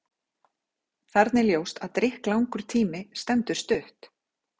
Þarna er ljóst að drykklangur tími stendur stutt.